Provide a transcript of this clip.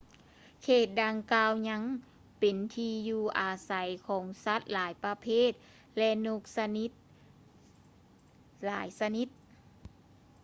ເຂດດັ່ງກ່າວຍັງເປັນທີ່ຢູ່ອາໄສຂອງສັດຫຼາຍປະເພດ ແລະ ນົກຊະນິດຫຼາຍຊະນິດ